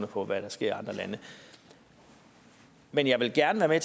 på hvad der sker i andre lande men jeg vil gerne være